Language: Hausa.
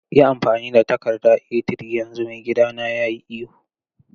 Yi amfani da takarda A3 yanzu, maigidana ya yi ihu.